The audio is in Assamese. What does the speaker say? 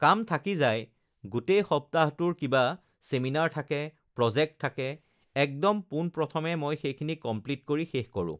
কাম থাকি যায় গোটেই সপ্তাহটোৰ কিবা চেমিনাৰ থাকে, প্ৰজেক্ট থাকে, একদম পোনপ্ৰথমে মই সেইখিনি কমপ্লিট কৰি শেষ কৰোঁ